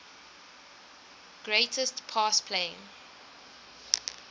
greatest pass play